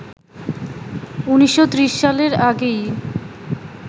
১৯৩০ সালের আগেই